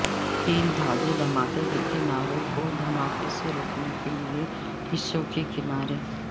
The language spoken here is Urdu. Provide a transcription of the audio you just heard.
تین دھاگے دھماکے کے کناروں کو دھماکے سے روکنے کے لئے حصوں کے کنارے